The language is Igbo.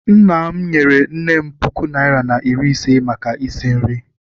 Nna m nyere nne m puku naịra na iri ise maka isi nri.